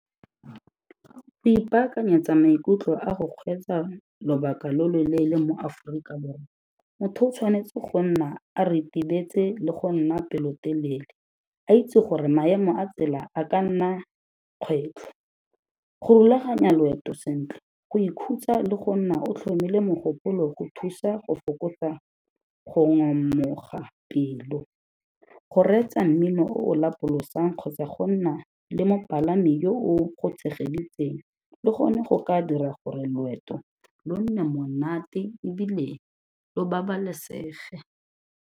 Go ipakanyetsa maikutlo a go kgweetsa lobaka lo lo leele mo Aforika Borwa, motho o tshwanetse go nna a ritibetse le go nna pelotelele, a itse gore maemo a tsela a ka nna kgwetlho. Go rulaganya loeto sentle, go ikhutsa le go nna o tlhomile mogopolo go thusa go fokotsa go ngamoga pelo, go reetsa mmino o o lapolosang kgotsa go nna le mopalami yo o go tshegeditseng, le gone go ka dira gore loeto lo nne monate e bile lo babalesege.